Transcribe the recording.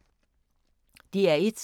DR1